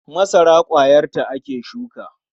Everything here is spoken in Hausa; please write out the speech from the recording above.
Masara ƙwayarta ake shuka.